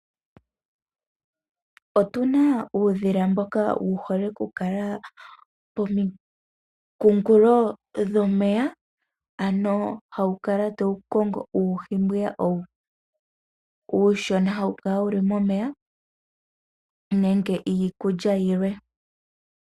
Otuna uudhila mboka wu hole oku kala pomikunkulo dhomeya hawu kala tawu kongo uuhi mbwiya uushona hawu kala wuli momeya nenge iikulya yimwe.